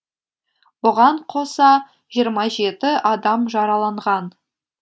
бұған қоса жиырма жеті адам жараланған